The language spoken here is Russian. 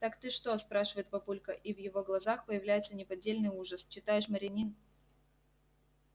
так ты что спрашивает папулька и в его глазах появляется неподдельный ужас читаешь маринину